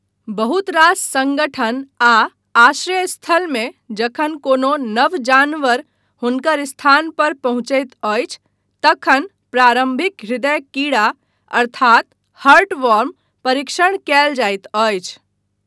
बहुत रास सङ्गठन आ आश्रय स्थलमे जखन कोनो नव जानवर हुनकर स्थान पर पहुँचैत अछि तखन प्रारम्भिक हृदय कीड़ा अर्थात हर्टवॉर्म परीक्षण कयल जाइत अछि।